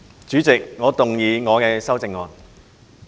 主席，我動議我的修正案。